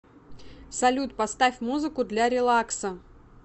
салют поставь музыку для релакса